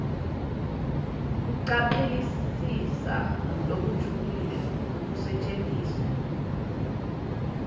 kucaphelisisa lokujulile kwekusetjentiswa